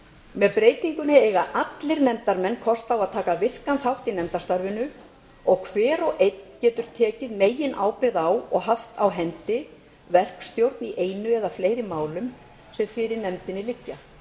með breytingunni eiga allir nefndarmenn kost á að taka virkan þátt í nefndarstarfinu og hver og einn getur tekið meginábyrgð á og haft á hendi verkstjórn á einu eða fleiri málum sem fyrir nefndinni liggja